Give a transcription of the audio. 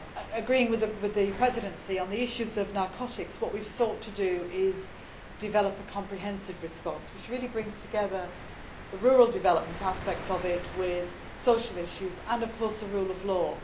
Agreeing with the Presidency on the issues of narcotics, what we have sought to do is develop a comprehensive response which really brings together the rural development aspects of it with social issues and, of course, the rule of law.